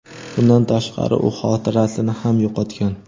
Bundan tashqari, u xotirasini ham yo‘qotgan.